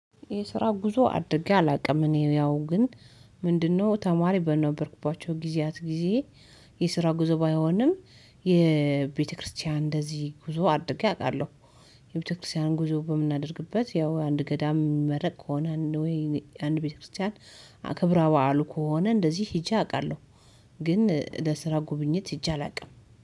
የስራ ጉዞ አድርጌ አላውቅም። እኔ ያው ግን ምንድነው? ተማሪ በነበርኩባቸው ጊዜያት ጊዜ የስራ ጉዞ ባይሆንም የቤተክርስቲያን እንደዚህ ጉዞ አድርጌ አውቃለሁ። የቤተክርስቲያን ጉዞ በምናደርግበት ያው አንድ ገዳም ሚመረቅ ከሆነ ወይ አንድ ቤተክርስቲያን አክብር በዓሉ ከሆነ እንደዚህ ሂጄ አውቃለሁ። ግን ለስራ ጉብኝት ሂጄ አላውቅም